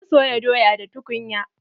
Zan soya doya da tukunya.